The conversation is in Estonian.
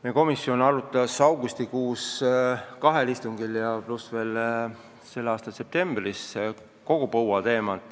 Meie komisjon arutas põua teemat augustikuul kahel istungil ja veel ka septembris.